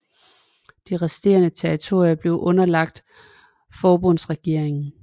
De resterende territorier er underlagt forbundsregeringen